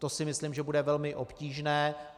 To si myslím, že bude velmi obtížné.